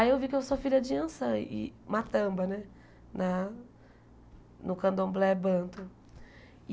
Aí eu vi que eu sou filha de Iansã e Matamba né, na no Candomblé Banto.